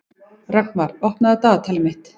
Rögnvar, opnaðu dagatalið mitt.